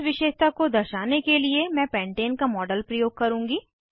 इस विशेषता को दर्शाने के लिए मैं पेन्टेन का मॉडल प्रयोग करुँगी